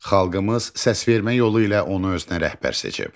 Xalqımız səsvermə yolu ilə onu özünə rəhbər seçib.